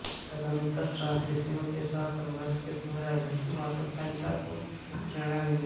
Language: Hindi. तदन्तर फ्रांसीसियों के साथ संघर्ष के समय राजनीतिक महत्त्वाकांक्षा को प्रेरणा मिली